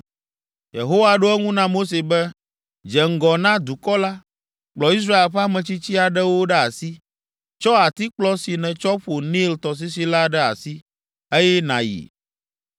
Yehowa ɖo eŋu na Mose be, “Dze ŋgɔ na dukɔ la, kplɔ Israel ƒe ametsitsi aɖewo ɖe asi. Tsɔ atikplɔ si netsɔ ƒo Nil tɔsisi la ɖe asi, eye nàyi.